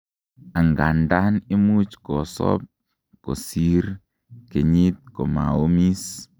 angandan imuch kosob kosir kenyit komaomis